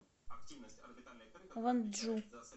вонджу